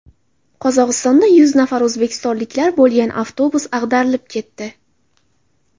Qozog‘istonda yuz nafar o‘zbekistonliklar bo‘lgan avtobus ag‘darilib ketdi.